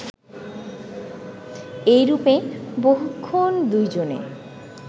এইরূপে বহুক্ষণ দুইজনে